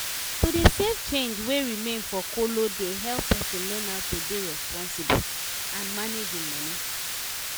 to dey save change wey remain for kolo dey help person learn how to dey responsible and manage im money.